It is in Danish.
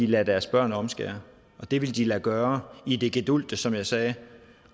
lade deres børn omskære og det ville de lade gøre i det gedulgte som jeg sagde